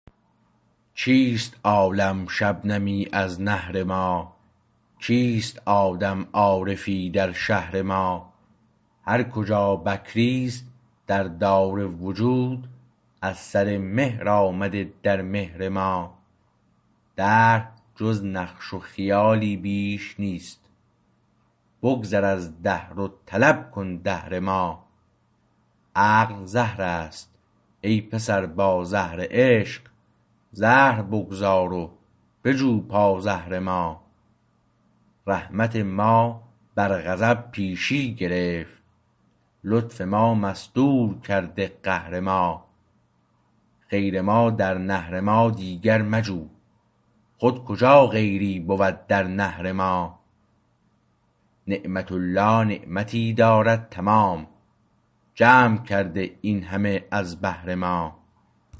چیست عالم شبنمی از نهر ما کیست آدم عارفی در شهر ما هرکجا بکری است در دار وجود از سر مهر آمده در مهر ما دهر جز نقش خیالی بیش نیست بگذر از دهر و طلب کن دهر ما عقل زهر است ای پسر با زهر عشق زهر بگذار و بجو پازهر ما رحمت ما بر غضب پیشی گرفت لطف ما مستور کرده قهر ما غیر ما در نهر ما دیگر مجو خود کجا غیری بود در نهر ما نعمت الله نعمتی دارد تمام جمع کرده این همه از بهر ما